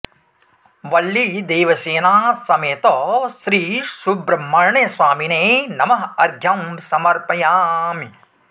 वल्लीदेवसेना समेत श्री सुब्रह्मण्य स्वामिने नमः अर्घ्यं समर्पयामि